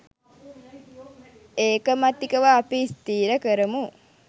ඒකමතිකව අපි ස්ථිර කරමු